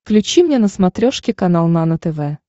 включи мне на смотрешке канал нано тв